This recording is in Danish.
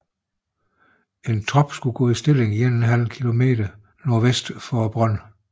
En trop skulle gå i stilling 1½ km nordvest for brønden